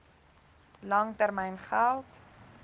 lang termyn geld